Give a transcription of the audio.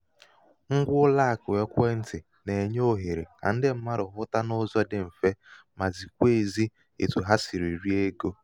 ṅgwa ụlọàkụ̀ ekwentị̀ nà-ènye òhèrè kà ndị mmadụ̀ hụta n’ụzọ̄ dị mfe ma zikwa ēzī etu ha sìrì ri egō.